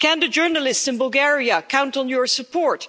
Can the journalists in Bulgaria count on your support?